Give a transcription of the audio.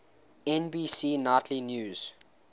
nbc nightly news